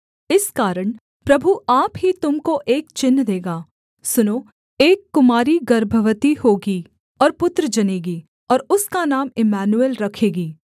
इस कारण प्रभु आप ही तुम को एक चिन्ह देगा सुनो एक कुमारी गर्भवती होगी और पुत्र जनेगी और उसका नाम इम्मानुएल रखेगी